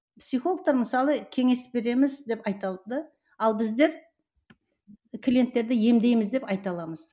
психологтар мысалы кеңес береміз деп айта алды ал біздер клиенттерді емдейміз деп айта аламыз